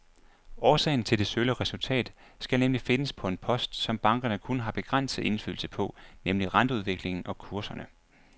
Årsagen til det sølle resultat skal nemlig findes på en post, som bankerne kun har begrænset indflydelse på, nemlig renteudviklingen og kurserne.